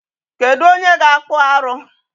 Kedụ onye ga-akpụ arụ.